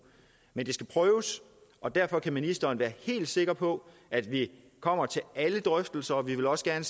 men det skal prøves og derfor kan ministeren være helt sikker på at vi kommer til alle drøftelser og vi vil også gerne